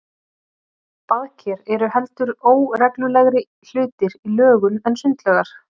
Baðker eru heldur óreglulegri hlutir í lögun en sundlaugar.